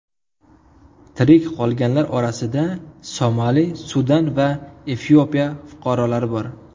Tirik qolganlar orasida Somali, Sudan va Efiopiya fuqarolari bor.